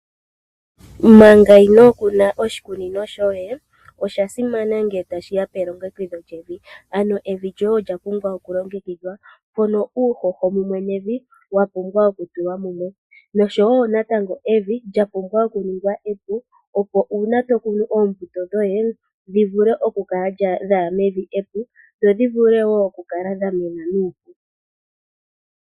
Manga inoo kuna oshikunino shoye osha simana ngele tashi ya pelongekidho lyevi ano evi lyoye olya pumbwa okulongekidhwa, mpono uuhoho mumwe nevi wa pumbwa okutulwa mumwe noshowo natango evi lya pumbwa oku ningwa epu, opo uuna to kunu oombuto dhoye dhi vule oku kala dhaya mevi epu dho dhi vule wo oku kala dha mena nuupu.